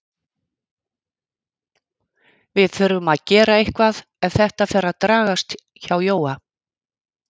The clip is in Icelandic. Við þurfum að gera eitthvað ef þetta fer að dragast hjá Jóa.